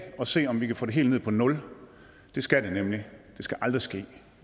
og se om vi kan få det helt ned på nul det skal det nemlig det skal aldrig ske